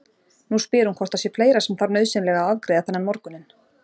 Nú spyr hún hvort það sé fleira sem þarf nauðsynlega að afgreiða þennan morguninn.